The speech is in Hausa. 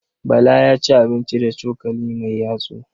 Bala ya ci abinci da cokali mai yatsu.